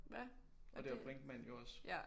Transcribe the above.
Hvad? Og det ja